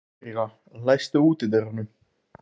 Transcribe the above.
Eiríka, læstu útidyrunum.